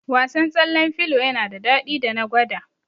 Wasan tsallen filo yana da daɗi da na gwada